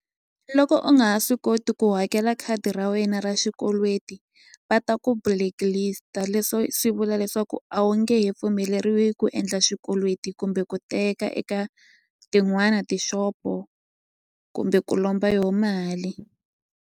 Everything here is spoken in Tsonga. Loko u nga ha swi koti ku hakela khadi ra wena ra xikweleti va ta ku blacklist-a leswo swi vula leswaku a wu nge he pfumeleriwi ku endla xikweleti kumbe ku teka eka tin'wani ti-shop-o kumbe ku lomba yo mali.